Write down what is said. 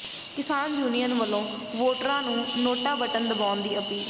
ਕਿਸਾਨ ਯੂਨੀਅਨ ਵੱਲੋਂ ਵੋਟਰਾਂ ਨੂੰ ਨੋਟਾ ਬਟਨ ਦੱਬਣ ਦੀ ਅਪੀਲ